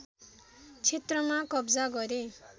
क्षेत्रमा कब्जा गरे